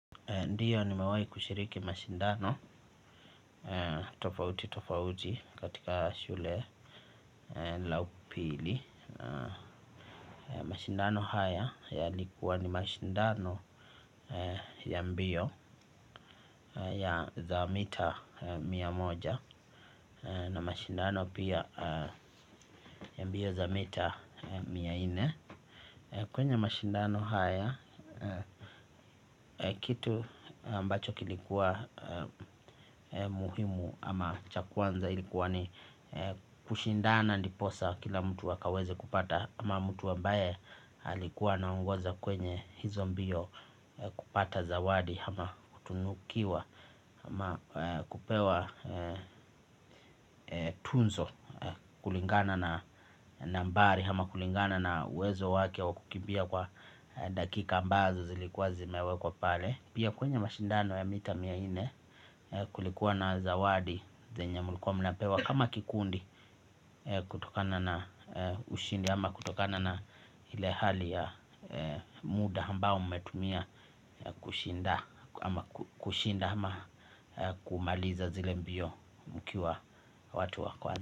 Ndiyo nimewahi kushiriki mashindano tofauti tofauti katika shule la upili. Mashindano haya yalikuwa ni mashindano ya mbio ya za mita mia moja na mashindano pia ya mbio za mita mia nne. Kwenye mashindano haya, kitu ambacho kilikuwa muhimu ama cha kwanza ilikuwa ni kushindana ndiposa kila mtu akaweze kupata ama mtu ambaye alikuwa anaongoza kwenye hizo mbio kupata zawadi ama kutunukiwa ama kupewa tuzo kulingana na nambari ama kulingana na uwezo wake wa kukimbia kwa dakika ambazo zilikuwa zimewekwa pale. Pia kwenye mashindano ya mita mia nne kulikuwa na zawadi zenye mlikuwa mnapewa kama kikundi kutokana na ushindi ama kutokana na ile hali ya muda ambao umetumia kushinda kushinda ama kumaliza zile mbio mkiwa watu wa kwanza.